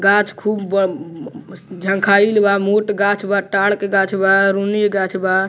गाक्ष खूब ब मम झनखाइल बा मोट गाक्ष बा टाड़ के गाक्ष बा रूनी के गाक्ष बा।